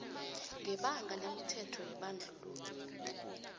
ngebanga lemithetho yebandlululo